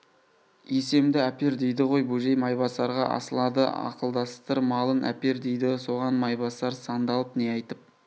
есемді әпер дейді ғой бөжей майбасарға асылады ақылдастыр малын әпер дейді соған майбасар сандалып не айтып